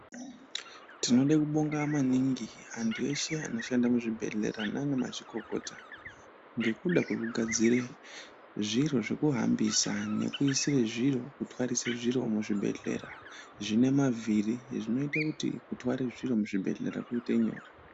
Tinode kubonga maningi antu eshe anoshanda muzvibhedhlera naaana mazvikokota ngekuda kwekugadzira zviro zvekuhambisa nekuise zviro kutwarisa zviro muzvibhedhlera zvine mavhiri zvinoite kuti kutwara zviro muzvibhedhlera kuite nyore.